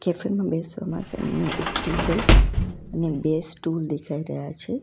બેસવા માટેનું એક ટેબલ અને બે સ્ટૂલ દેખાઈ રહ્યા છે.